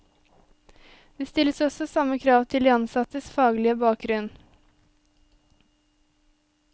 Det stilles også samme krav til de ansattes faglige bakgrunn.